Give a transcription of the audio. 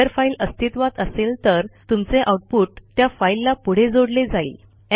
जर फाईल अस्तित्वात असेल तर तुमचे आऊटपुट त्या फाईलला पुढे जोडले जाईल